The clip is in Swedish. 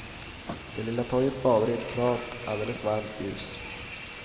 Det lilla torget badar i ett klart, alldeles varmt ljus.